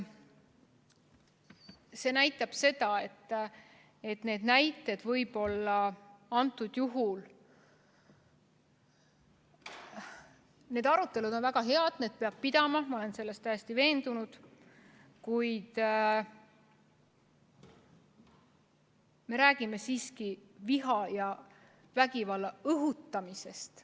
Need arutelud on väga head, neid peab pidama, ma olen selles täiesti veendunud, kuid me räägime siiski viha ja vägivalla õhutamisest.